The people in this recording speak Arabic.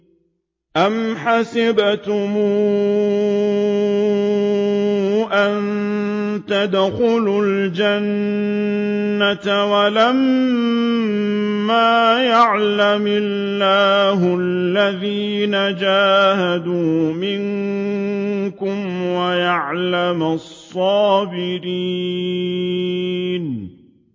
أَمْ حَسِبْتُمْ أَن تَدْخُلُوا الْجَنَّةَ وَلَمَّا يَعْلَمِ اللَّهُ الَّذِينَ جَاهَدُوا مِنكُمْ وَيَعْلَمَ الصَّابِرِينَ